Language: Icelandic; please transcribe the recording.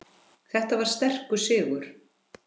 Þetta var sterkur sigur.